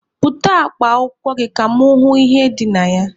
Bute akpa akwụkwọ gị ka mụ hụ ihe dị na ya!